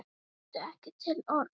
Þau áttu ekki til orð.